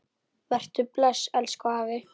Vertu bless, elsku afi.